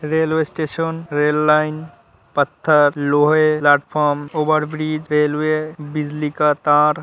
railway station red line पत्थर लोहे platform overbridge railway बिजली का तार --